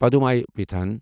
پُدھمےپیٹھن